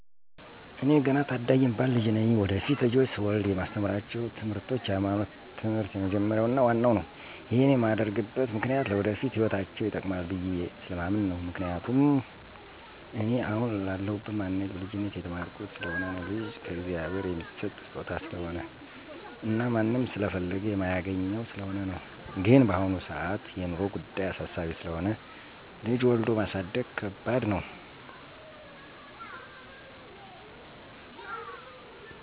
ኤኔ ገና ታዳጊ የምባል ልጅ ነኝ። ወደፊት ልጆች ስወልድ የማስተምራቸው ትምርቶች የሀይማኖት ትምህር የመጀመርያው እና ዋናው ነው። ይሄን የማደርግበት ምክኒያት ለወደፊት ህይወታቸው ይጠቅማል ብየስለማምን ነው፤ ምክንያቱም እኔን አሁን ላለሁበት ማንነቴ በልጅነቴ የተማርኩት ስለሆነ ነው። ልጅ ከእግዚአብሔር የሚሠጥ ስጦታ ስሆነ እና ማንም ስለፈለገ የማያገኘው ስለሆነ ነው። ግን በአሁን ሰአት የኑሮ ጉዳይ አሳሳቢ ስለሆነ ልጅ ወልዶ ማሳደግ ከባደሰ ነው።